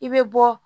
I bɛ bɔ